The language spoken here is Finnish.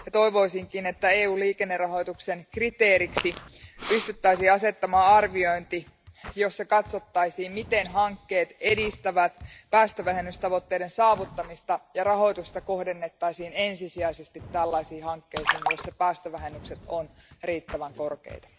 Toivoisinkin, että EU liikennerahoituksen kriteeriksi pystyttäisiin asettamaan arviointi, jossa katsottaisiin, miten hankkeet edistävät päästövähennystavoitteiden saavuttamista, ja rahoitusta kohdennettaisiin ensisijaisesti tällaisiin hankkeisiin, joissa päästövähennykset ovat riittävän korkeita.